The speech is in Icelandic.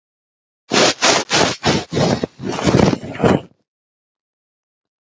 Allt í einu er barið að dyrum.